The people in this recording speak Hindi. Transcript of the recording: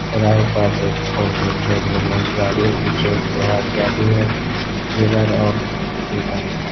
चौराहे पास एक फोरव्हिलार गाडी है पीछे उसके गाडी है मिरार (Mirror) और कई सारी --